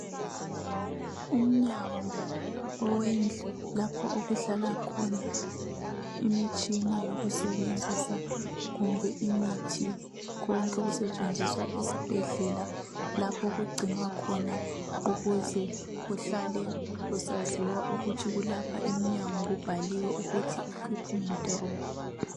Umnyango owendlu lapho okuhlala khona imitshina yokusebenzisa kumbe imithi. Konke okusetshenziswa esibhedlela lapho okugcinwa khona. Ukuze kuhlale kusaziwa ukuthi ukulapha emnyango kubhaliwe ukuthi equipment room.